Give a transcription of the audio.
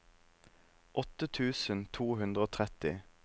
åtte tusen to hundre og tretti